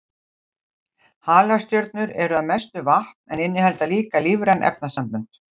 Halastjörnur eru að mestu vatn en innihalda líka lífræn efnasambönd.